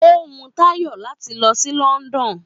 Ó wu Táyọ̀ láti lọ sí London